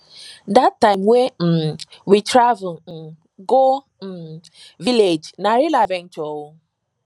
dat time wey um we travel um go um village na real adventure o